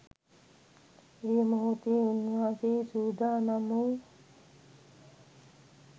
ඒ මොහොතේ උන්වහන්සේ සූදානම් වූ